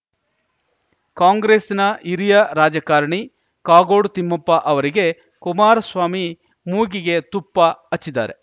ಕಾಂಗ್ರೆಸ್‌ನ ಹಿರಿಯ ರಾಜಕಾರಣಿ ಕಾಗೋಡು ತಿಮ್ಮಪ್ಪ ಅವರಿಗೆ ಕುಮಾರಸ್ವಾಮಿ ಮೂಗಿಗೆ ತುಪ್ಪ ಹಚ್ಚಿದ್ದಾರೆ